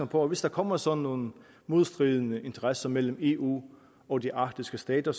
på hvis der kommer sådan nogle modstridende interesser mellem eu og de arktiske stater